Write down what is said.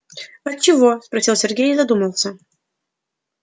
а чего спросил сергей и задумался